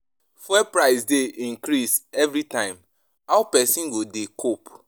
Fuel price dey increase everytime, how pesin go dey cope?